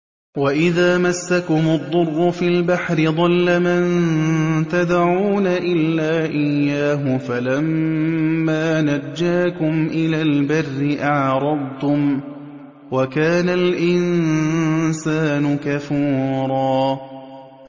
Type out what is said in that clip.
وَإِذَا مَسَّكُمُ الضُّرُّ فِي الْبَحْرِ ضَلَّ مَن تَدْعُونَ إِلَّا إِيَّاهُ ۖ فَلَمَّا نَجَّاكُمْ إِلَى الْبَرِّ أَعْرَضْتُمْ ۚ وَكَانَ الْإِنسَانُ كَفُورًا